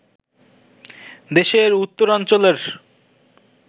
দেশের উত্তরাঞ্চলের